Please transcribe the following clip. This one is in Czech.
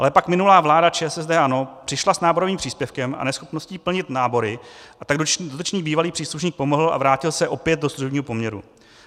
Ale pak minulá vláda ČSSD, ANO přišla s náborovým příspěvkem a neschopností plnit nábory, a tak dotyčný bývalý příslušník pomohl a vrátil se opět do služebního poměru.